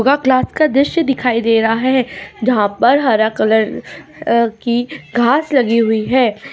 योग क्लास का दीऋष दिखाई दे रहा है जहा पर हरा कलर अ की घास लागि हुई है।